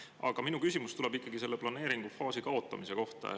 Aga minu küsimus tuleb ikkagi selle planeeringu faasi kaotamise kohta.